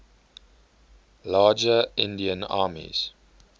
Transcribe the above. larger indian armies